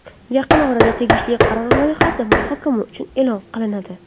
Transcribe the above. Yaqin orada tegishli qaror loyihasi muhokama uchun e’lon qilinadi.